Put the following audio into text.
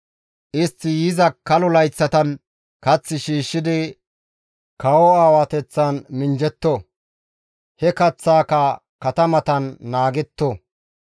Istti yiza kalo layththatan kath shiishshidi kawo aawateththan minjjetto; he kaththaaka katamatan naagetto.